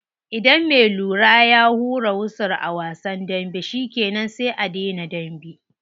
Idan me lura ya hura wusul a wasan dambe shikenan sai a dena dambe.